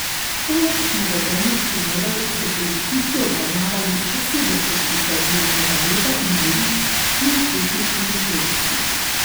Poleg navedenih primerov so policisti obravnavali še sedem kršitev javnega reda in miru s pirotehničnimi sredstvi.